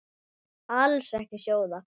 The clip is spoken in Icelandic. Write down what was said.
Alls ekki sjóða.